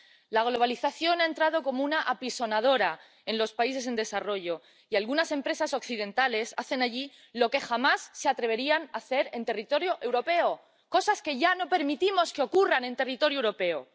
La globalización ha entrado como una apisonadora en los países en desarrollo y algunas empresas occidentales hacen allí lo que jamás se atreverían a hacer en territorio europeo, cosas que ya no permitimos que ocurran en territorio europeo.